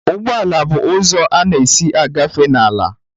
Ụgbọ ala bụ ụzọ a na-esi agafe n'ala